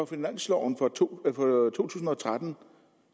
finansloven for to tusind og tretten